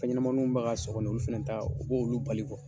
Fɛnɲamaniw bɛ ka sɔgɔ nin ye, olu fɛnɛ ta, o b'olu olu bali